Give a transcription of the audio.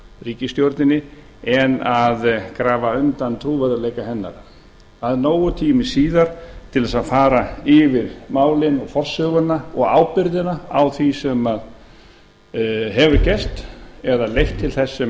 ríkisstjórninni en að grafa undan trúverðugleika hennar það er nógur tími síðar til þess að fara yfir málin og forsöguna og ábyrgðina á því sem hefur gerst eða leitt til þess sem